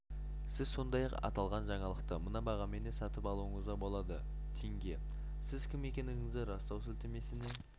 сіз сондай-ақ аталған жаңалықты мына бағамен де сатып алуыңызға болады тенге сіз кім екендігіңізді растау сілтемесіне